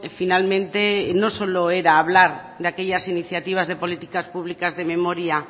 finalmente no solo era hablar de aquellas iniciativas de políticas públicas de memoria